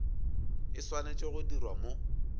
e swanetše go dirwa mo